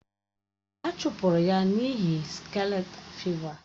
A chụpụrụ ya n’ihi skalet fịva.